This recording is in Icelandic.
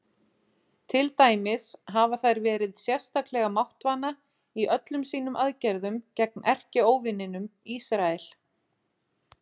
Til dæmis hafa þær verið sérstaklega máttvana í öllum sínum aðgerðum gegn erkióvininum Ísrael.